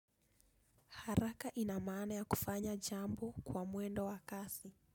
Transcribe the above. Haraka inamana ya kufanya jambo kwa mwendo wakasi.